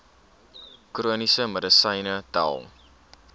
chroniese medisyne tel